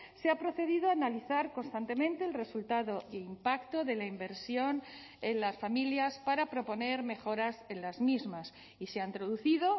se ha procedido a analizar constantemente el resultado e impacto de la inversión en las familias para proponer mejoras en las mismas y se ha introducido